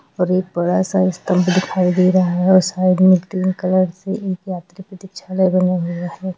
एक बड़ा सा स्थल भी दिखाई दे रहा है और साईड मे एक पिंक कलर से एक यात्री प्रतीक्षा लेने गया है।